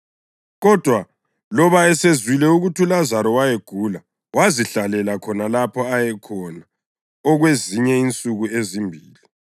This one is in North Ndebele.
Kodwa loba esezwile ukuthi uLazaro wayegula wazihlalela khona lapho ayekhona okwezinye insuku ezimbili.